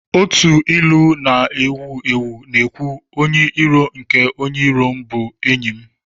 Otu ilu na-ewu ewu na-ekwu, "Onye iro nke onye iro m bụ enyi m